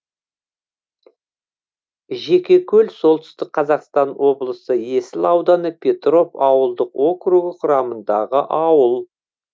жекекөл солтүстік қазақстан облысы есіл ауданы петров ауылдық округі құрамындағы ауыл